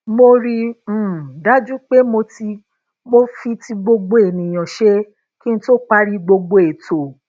mo rí i um dájú pé mo fi ti gbogbo èèyàn ṣe kí n tó parí gbogbo ètò